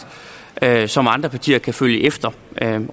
som andre partier kan